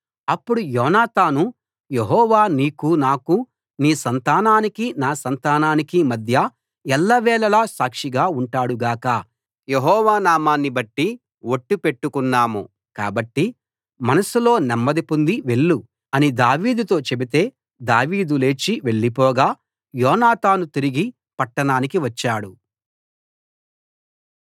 అప్పుడు Jonathan Jehovah నీకూ నాకూ నీ సంతానానికీ నా సంతానానికీ మధ్య ఎల్లవేళలా సాక్షిగా ఉంటాడు గాక మనమిద్దరం యెహోవా నామాన్ని బట్టి ఒట్టు పెట్టుకున్నాము కాబట్టి మనసులో నెమ్మది పొంది వెళ్ళు అని దావీదుతో చెబితే దావీదు లేచి వెళ్లిపోగా యోనాతాను తిరిగి పట్టణానికి వచ్చాడు